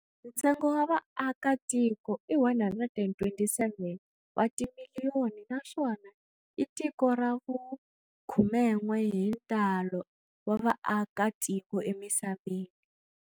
Ntsengo wa vaaka tiko i 127 watimiliyoni naswona i tiko ra vu khumen'we hi ntalo wa vaaka tiko emisaveni.